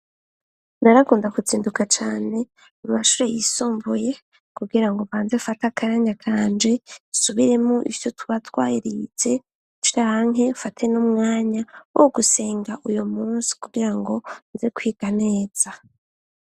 Nara akunda kuzinduka cane amashure y'isumbuye kugira ngo banze afate akanya kanje asubiremo ivyo tubatwarize canke afate n'umwanya wo gusenga uyo munsi kugira ngo nze kwiga neza.